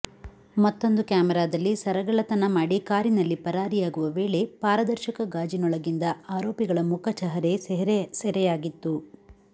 ಮತ್ತೊಂದು ಕ್ಯಾಮೆರಾದಲ್ಲಿ ಸರಗಳ್ಳತನ ಮಾಡಿ ಕಾರಿನಲ್ಲಿ ಪರಾರಿಯಾಗುವ ವೇಳೆ ಪಾರದರ್ಶಕ ಗಾಜಿನೊಳಗಿಂದ ಆರೋಪಿಗಳ ಮುಖ ಚಹರೆ ಸೆರೆಯಾಗಿತ್ತು